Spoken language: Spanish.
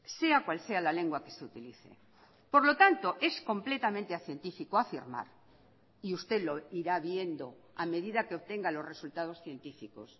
sea cual sea la lengua que se utilice por lo tanto es completamente acientífico afirmar y usted lo irá viendo a medida que obtenga los resultados científicos